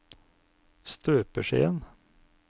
støpeskjeen